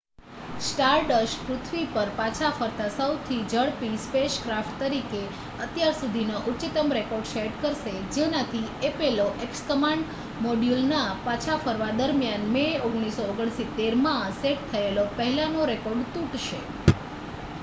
Stardust પૃથ્વી પર પાછા ફરતા સૌથી ઝડપી સ્પેસક્રાફ્ટ તરીકે અત્યાર સુધીનો ઉચ્ચતમ રેકૉર્ડ સેટ કરશે જેનાથી એપોલો x કમાન્ડ મૉડ્યૂલના પાછા ફરવા દરમિયાન મે 1969માં સેટ થયેલો પહેલાંનો રેકૉર્ડ તૂટશે